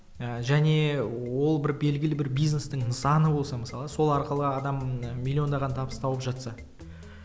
ыыы және ол бір белгілі бір бизнестің нысаны болса мысалы сол арқылы адам миллиондаған табыс тауып жатса